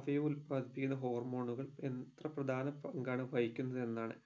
അവ ഉല്പാദിപ്പിക്കുന്ന hormone ഉകൾ എത്ര പ്രധാന പങ്കാണ് വഹിക്കുന്നത് എന്നാണ്